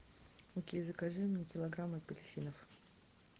окей закажи мне килограмм апельсинов